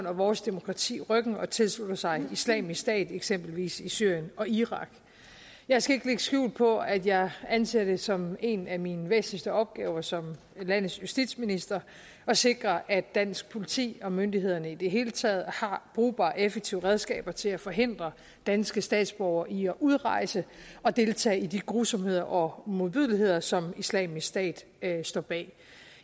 og vores demokrati ryggen og tilslutter sig islamisk stat eksempelvis i syrien og irak jeg skal ikke lægge skjul på at jeg anser det som en af mine væsentligste opgaver som landets justitsminister at sikre at dansk politi og myndighederne i det hele taget har brugbare og effektive redskaber til at forhindre danske statsborgere i at udrejse og deltage i de grusomheder og modbydeligheder som islamisk stat står bag